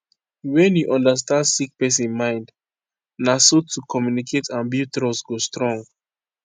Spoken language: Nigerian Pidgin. wne u understand sick pesin mind na so to communicate and build trust go strong